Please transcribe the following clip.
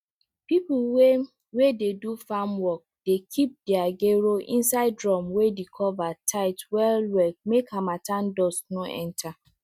people wey wey dey do farm work dey keep dere gero inside drum wey de cover tight well well make harmattan dust no enter